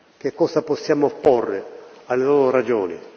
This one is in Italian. Che cosa possiamo opporre alle loro ragioni?